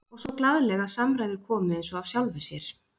Og svo glaðleg að samræður komu eins og af sjálfu sér.